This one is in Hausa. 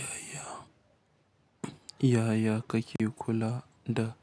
Yaya, yaya kake kula da